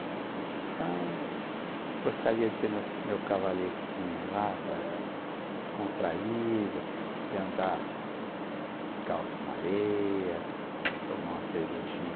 Então, gostaria de ter meu meu cavaletezinho lá para descontraído, de andar descalço na areia, de tomar uma cervejinha